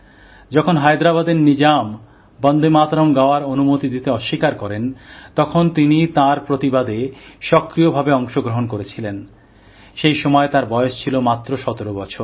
যখন হায়দ্রাবাদের নিজাম বন্দেমাতরম গাওয়ার অনুমতি দিতে অস্বীকার করেন তখন তিনি তাঁর প্রতিবাদে সক্রিয়ভাবে অংশগ্রহণ করেছিলেন সেই সময় তাঁর বয়স ছিল মাত্র ১৭ বছর